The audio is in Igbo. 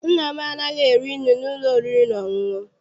Nna m anaghị eri nri n'ụlọ oriri na ọṅụṅụ.